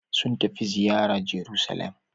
Sun tafi ziyara Jeruselem.